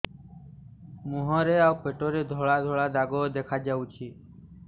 ମୁହଁରେ ଆଉ ପେଟରେ ଧଳା ଧଳା ଦାଗ ଦେଖାଯାଉଛି